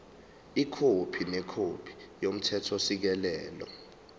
ikhophi nekhophi yomthethosisekelo